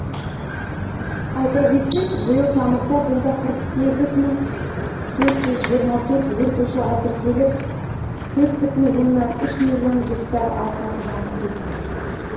айта кетсек биыл тамызда мұнда қырық сегіз мың төрт жүз жиырма төрт өрт ошағы тіркеліп төрт бүтін оннан төрт миллион гектар алқап жанып кетті